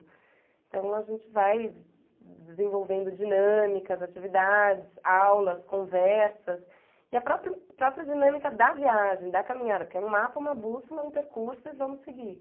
Então a gente vai desenvolvendo dinâmicas, atividades, aulas, conversas e a própria própria dinâmica da viagem, da caminhada, porque é um mapa, uma bússola, um percurso e vamos seguir.